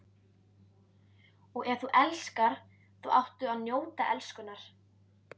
Og ef þú elskar þá áttu að njóta elskunnar.